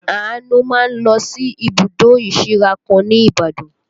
Àánú máa ń lọ sí ibùdó ìsíra kan ní Ibadan